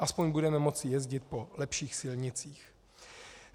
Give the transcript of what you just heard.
Aspoň budeme moci jezdit po lepších silnicích.